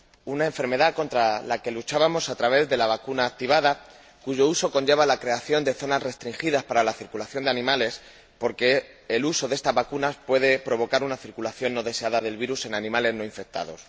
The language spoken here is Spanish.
Una enfermedad contra la que luchábamos a través de la vacuna activada cuyo uso conlleva la creación de zonas restringidas para la circulación de animales, porque el uso de estas vacunas puede provocar una circulación no deseada del virus en animales no infectados.